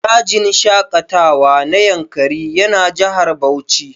Dajin shaƙatawa na Yankari yana Jihar Bauchi